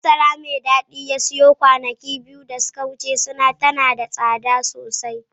Masara mai dadi da ya siyo kwanaki biyu da suka wuce tana da tsada sosai